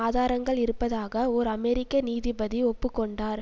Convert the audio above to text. ஆதாரங்கள் இருப்பதாக ஓர் அமெரிக்க நீதிபதி ஒப்பு கொண்டார்